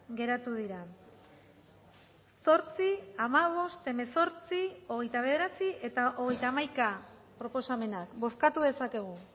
geratu dira zortzi hamabost hemezortzi hogeita bederatzi eta hogeita hamaika proposamenak bozkatu dezakegu